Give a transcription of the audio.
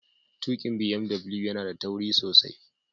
Tuƙin BMW yana da tauri sosai